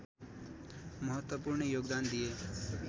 महत्त्वपूर्ण योगदान दिए